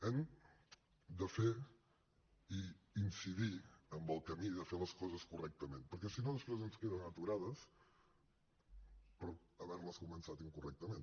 hem de fer i incidir en el camí de fer les coses correctament perquè si no després ens queden aturades per haver les començat incorrectament